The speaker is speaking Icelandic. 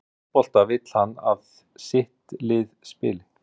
Hvernig fótbolta vill hann að sitt lið spili?